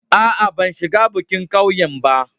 A'a, ban shiga bikin ƙauyen ba.